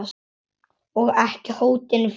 Og ekki hótinu fleiri.